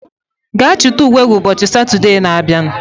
Gaa chịta uwe gị ụbọchị Satọdee na abịa